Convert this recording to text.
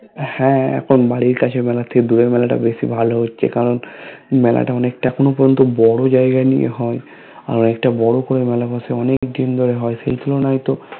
হ্যা এখন বাড়ির কাছের মেলা ঠিক দোলের মেলাটা বেশি ভালো হচ্ছে কারণ মেলাটা অনেকটা এখোনো পর্যন্ত বোরো জায়গা নিয়ে হয় আরো একটা বোরো কোরে মেলা বশে অনেক দিন ধোরে হয় সেই তুলনায় তো